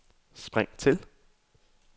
spring til